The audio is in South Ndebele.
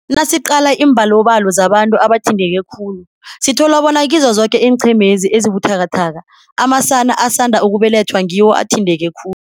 Nasiqala iimbalobalo zabantu abathinteke khulu, sithola bona kizo zoke iinqhemezi ezibuthakathaka, amasana asanda ukubelethwa ngiwo athinteke khulu.